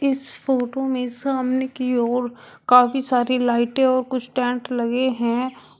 इस फोटो में सामने की ओर काफी सारी लाइटें और कुछ टेंट लगे हैं।